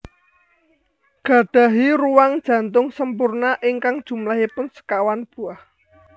Gadahi ruang jantung sempurna ingkang jumlahipun sekawan buah